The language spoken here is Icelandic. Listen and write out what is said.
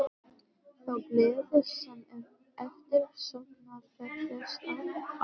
Þá gleði sem er eftirsóknarverðust alls.